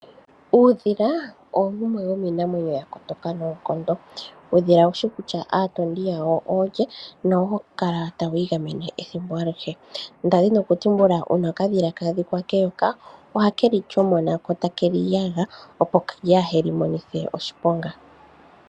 Uudhila owo wumwe womiinamwenyo ya kotoka noonkondo. Uudhila owushi kutya aatondi yawo oolye nohawu kala tawi igamene ethimbo alihe, ndali ndina okutumbula uuna okadhila kaadhikwa keyoka ohakeli shomona ko takeli yaga opo kaaheli monithe oshiponga.